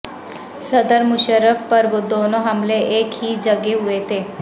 صدر مشرف پر دونوں حملے ایک ہی جگہ ہوئے تھے